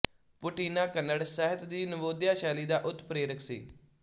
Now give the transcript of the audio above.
ਪੂਟੀਨਾ ਕੰਨੜ ਸਾਹਿਤ ਦੀ ਨਵੋਦਿਆ ਸ਼ੈਲੀ ਦਾ ਉਤਪ੍ਰੇਰਕ ਸੀ